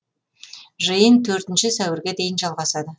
жиын төртінші сәуірге дейін жалғасады